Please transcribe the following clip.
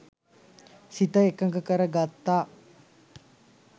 සිත එකඟ කර ගත්තා.